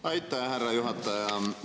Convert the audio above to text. Aitäh, härra juhataja!